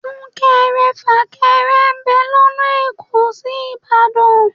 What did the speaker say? Súnkẹrẹ fàkẹrẹ ń bẹ lọ́nà èkó sí Ìbàdàn